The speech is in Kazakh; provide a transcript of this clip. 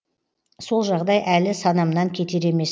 сол жағдай әлі санамнан кетер емес